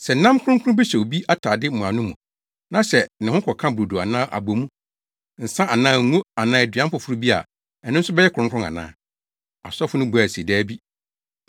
Sɛ nam kronkron bi hyɛ obi atade mmuano mu, na sɛ ho kɔka brodo anaa abɔmu, nsa anaa ngo anaa aduan foforo bi a, ɛno nso bɛyɛ kronkron ana?’ ” Asɔfo no buae se: “Dabi.”